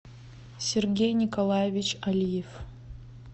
сергей николаевич алиев